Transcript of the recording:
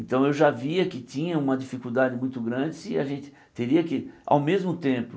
Então eu já via que tinha uma dificuldade muito grande, se a gente teria que, ao mesmo tempo,